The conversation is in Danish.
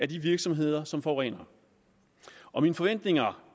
de virksomheder som forurener og mine forventninger